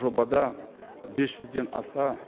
жобада бес жүзден аса